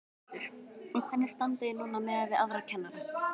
Þórhildur: Og hvernig standið þið núna miðað við aðra kennara?